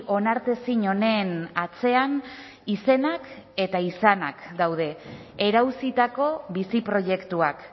onartezin honen atzean izenak eta izanak daude erauzitako bizi proiektuak